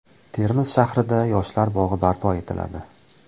Termiz shahrida yoshlar bog‘i barpo etiladi.